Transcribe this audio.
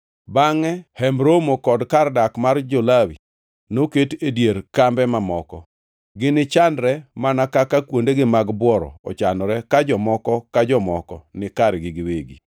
Bangʼe Hemb Romo kod kar dak mar jo-Lawi noket e dier kambe mamoko. Ginichanre mana kaka kuondegi mag bworo ochanore ka jomoko ka jomoko ni kargi giwegi.